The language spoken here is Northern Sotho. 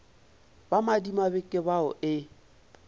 ba madimabe ke bao e